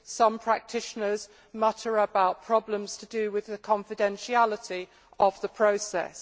some practitioners mutter about problems to do with the confidentiality of the process.